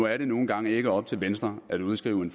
er nu en gang ikke op til venstre at udskrive